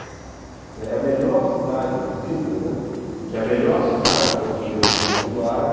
É a melhor cidade, dizem, né, que é a melhor cidade para um judeu viver no mundo árabe...